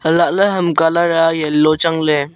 alahley ham colour a changley.